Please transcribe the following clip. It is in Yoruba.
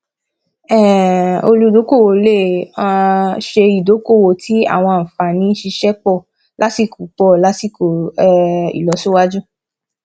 um olùdókòwò lè um ṣe ìdókòwò tí àwọn ànfààní ṣíṣẹ pọ lásìkò pọ lásìkò um ilosiwaju